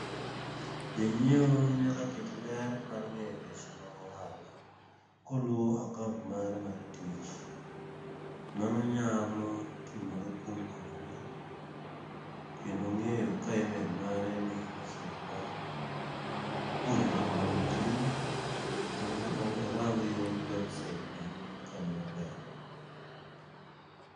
Jonyiewo nyaka ket ler mar ng'eyo weche mag ohala, koluwo akaont mare mar tich. Mano nyalo timore kuom puonjruok, kendo ng'eyo ka imel mare nigi mesej mar puonjruok manotimo. Kendo oo rang yor websait bende ka ni maber.